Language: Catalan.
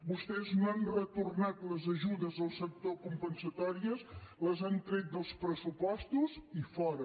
vostès no han retornat les ajudes al sector compensatòries les han tret dels pressupostos i fora